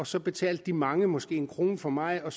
så betalte de mange måske en krone for meget og